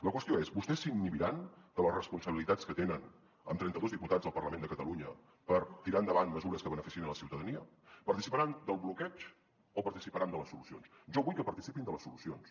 la qüestió és vostès s’inhibiran de les responsabilitats que tenen amb trenta dos diputats al parlament de catalunya per tirar endavant mesures que beneficiïn la ciutadania participaran del bloqueig o participaran de les solucions jo vull que participin de les solucions